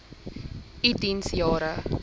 u diens jare